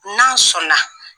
N'an sɔnna.